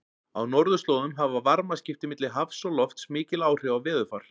Á norðurslóðum hafa varmaskipti milli hafs og lofts mikil áhrif á veðurfar.